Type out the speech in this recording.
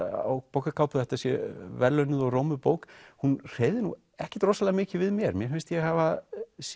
á bókarkápu að þetta sé verðlaunuð og rómuð bók hún hreyfði nú ekkert rosalega mikið við mér mér finnst ég hafa